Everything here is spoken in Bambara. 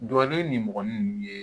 Duwawu ni mɔgɔninfin ninnu ye